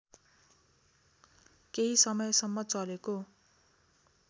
केही समयसम्म चलेको